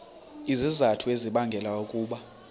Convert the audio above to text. izizathu ezibangela ukuba